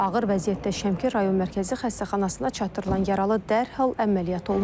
Ağır vəziyyətdə Şəmkir Rayon Mərkəzi Xəstəxanasına çatdırılan yaralı dərhal əməliyyat olunub.